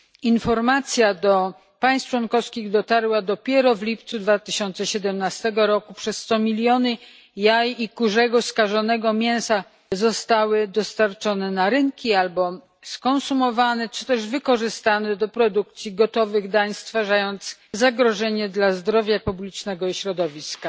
Informacja do państw członkowskich dotarła dopiero w lipcu 2017 roku, przez co miliony jaj i kurzego skażonego mięsa zostały dostarczone na rynki albo skonsumowane czy też wykorzystane do produkcji gotowych dań, stwarzając zagrożenie dla zdrowia publicznego i środowiska.